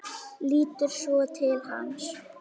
Lítur svo til hans.